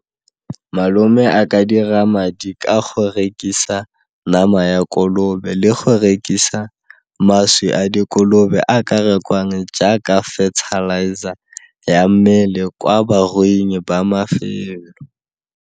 Malome a ka dira madi ka go rekisa nama ya kolobe le go rekisa mašwi a dikolobe a ka rekwang jaaka fertilizer ya mmele kwa baruing ba .